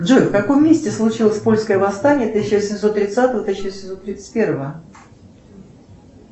джой в каком месте случилось польское восстание тысяча восемьсот тридцатого тысяча восемьсот тридцать первого